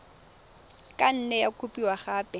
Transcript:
ka nne ya kopiwa gape